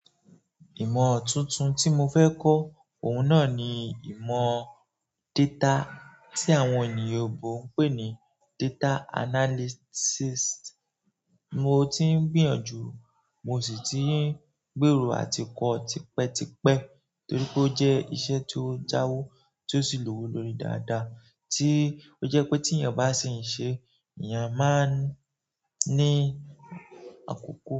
Ìmọ̀ tuntun tí mo fẹ́ kọ́, òun náà ni ìmọ̀ data tí àwọn oyinbọ ń pè ní data analysis. Mo ti ń gbìyànjú, mo sì ti ń gbèrò àti kọ́ tipẹ́ tipẹ́ torí pé ó jẹ́ iṣẹ́ tó jáwó, tó sì lówó lórí dáadáa, tí ó jẹ́ pé tí èèyàn bá sì ń ṣe, èèyàn máa ń ní àkókò.